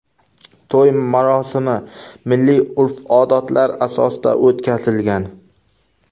To‘y marosimi milliy urf-odatlar asosida o‘tkazilgan.